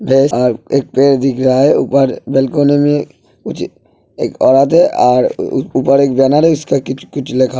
एक पेड़ दिख रहा है ऊपर बलकोनी में मुझे एक औरत है और ऊपर एक बैनर है उसका कुछ कुछ लिखा --